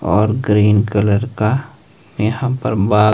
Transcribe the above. और green colour का यहां पर बा--